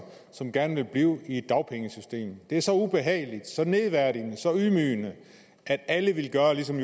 som gerne vil blive i dagpengesystemet det er så ubehageligt så nedværdigende og så ydmygende at alle vil gøre ligesom